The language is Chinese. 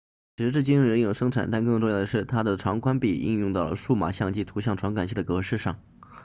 时至今日仍有生产但更重要的是它的长宽比应用到了数码相机图像传感器的格式上